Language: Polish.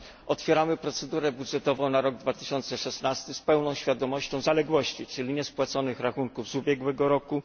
Otwieramy procedurę budżetową na rok 2016 z pełną świadomością zaległości, czyli niespłaconych rachunków z ubiegłego roku.